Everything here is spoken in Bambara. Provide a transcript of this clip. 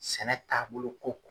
Sɛnɛ taabolo ko